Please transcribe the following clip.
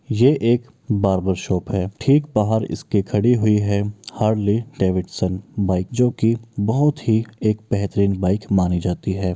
ये एक barber shop है | ठीक बाहर इसके खड़ी हुई है हार्ले-डैविडसन बाइक जो कि बहुत ही एक बेहतरीन बाइक मानी जाती है।